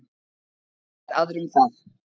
Læt aðra um það.